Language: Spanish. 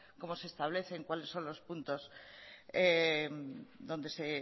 como se establecen cuales son los puntos donde se